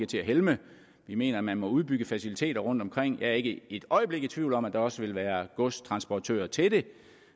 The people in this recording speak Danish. til at helme vi mener at man må udbygge faciliteterne rundtomkring jeg er ikke et øjeblik i tvivl om at der også vil være godstransportører til